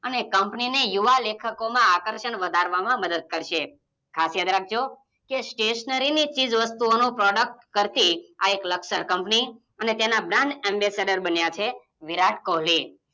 અને કંપનીને યુવા લેખકોમાં આકર્ષણ વધારવામાં મદદ કરશે ખાસ યાદ રાખજો કે Stationery ની ચીજ વસ્તુઓનો Product કરતી આ એક લકસર કંપની અને તેના Brand ambassadors બન્યા છે વિરાટ કોહલી